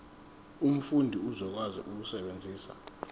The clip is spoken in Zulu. umfundi uzokwazi ukusebenzisa